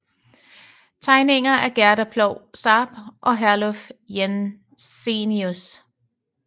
Tegninger af Gerda Ploug Sarp og Herluf Jensenius